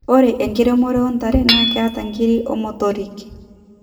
ore enkiremore ontare naa keeta nkiri omotorik